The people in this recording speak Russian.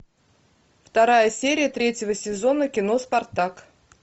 вторая серия третьего сезона кино спартак